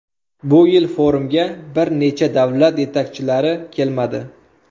Bu yil forumga bir necha davlat yetakchilari kelmadi.